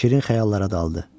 Şirin xəyallara daldı.